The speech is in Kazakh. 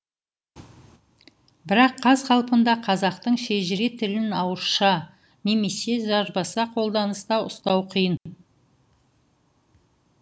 бірақ қаз қалпында қазақтың шежіре тілін ауызша немесе жазбаша қолданыста ұстау қиын